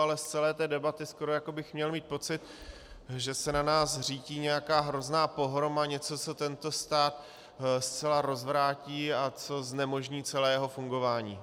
Ale z celé té debaty skoro jako bych měl mít pocit, že se na nás řítí nějaká hrozná pohroma, něco, co tento stát zcela rozvrátí a co znemožní celé jeho fungování.